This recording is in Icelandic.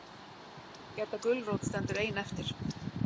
Gedda gulrót stendur ein eftir.